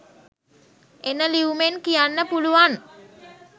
එන ලියුමෙන් කියන්න පුළුවන්